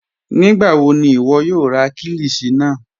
Nígbàwọ̀ ni iwọ̀ yóò rà kílíshì náà?